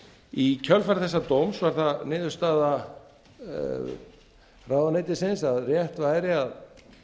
í kjölfar þessa dóms varð það niðurstaða ráðuneytisins að rétt væri að